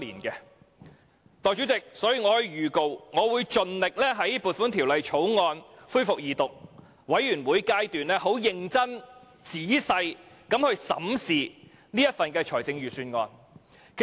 代理主席，我特此預告，我會盡力在《2017年撥款條例草案》恢復二讀及全體委員會審議階段時認真、仔細審視這份預算案。